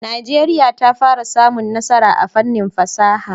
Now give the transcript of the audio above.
Najeriya ta fara samun nasara a fannin fasaha.